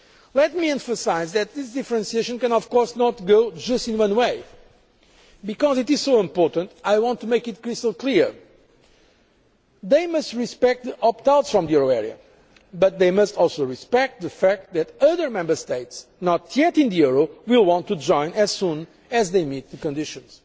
market. Let me emphasise that these differentiations cannot go just in one way. Because it is so important, I want to make it crystal clear they must respect the opt outs from the euro area but they must also respect the fact that other Member States not yet in the euro will want to join as soon as they meet the conditions.